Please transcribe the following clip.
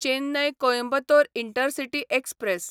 Chennai Coimbatore intercity express